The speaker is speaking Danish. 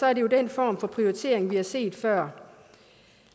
er det jo den form for prioritering vi har set før